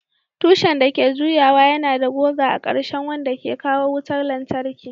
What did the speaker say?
Tushen da ke juyawa yana da goga a ƙarshen wanda ke kawo wutar lantarki.